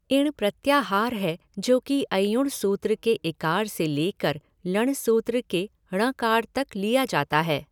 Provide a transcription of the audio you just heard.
इण् प्रत्याहार है जो कि अइउण् सूत्र के इकार से लेकर लण् सूत्र के णकार तक लिया जाता है।